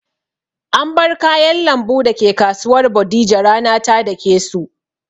An bar kayan lambu dake kasuwar bodija rana ta dake su